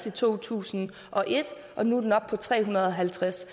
i to tusind og et og nu er den oppe på tre hundrede og halvtreds